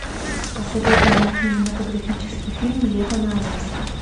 посоветуй мне кинематографический фильм лето на аляске